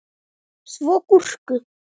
Svo gúrku.